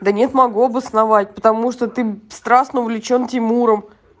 да нет могу обосновать потому что ты страстно увлечён тимуром